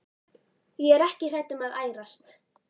Ég er ekki hrædd um að ærast.